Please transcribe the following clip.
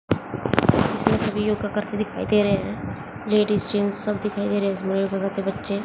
इसमें सभी योगा करते दिखाई दे रहे हैं लेडीज जेंट्स सब दिखाई दे रहे हैं इसमें के बच्चे--